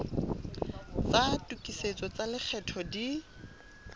tsa tokisetso tsa lekgetho di